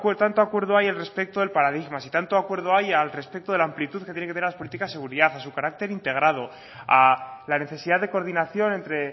tanto acuerdo hay respecto del paradigma si tanto acuerdo hay respecto de la amplitud que tienen que tener las políticas de seguridad a su carácter integrado a la necesidad de coordinación entre